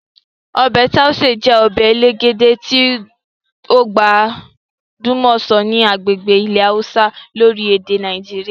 Ọbẹ Tauṣe je ọbẹ elegede ti o gbajumo ni agbegbe ile hausa orile-ede Nàìjíríà.